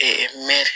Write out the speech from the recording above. mɛ